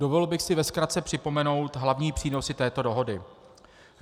Dovolil bych si ve zkratce připomenout hlavní přínosy této dohody.